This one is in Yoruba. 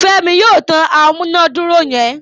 Femi yóò tán amunaduro yen.